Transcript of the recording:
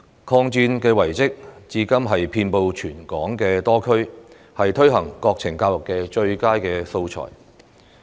抗戰遺蹟至今遍布全港多區，是推行國情教育的最佳素材。